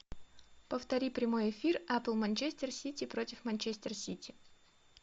повтори прямой эфир апл манчестер сити против манчестер сити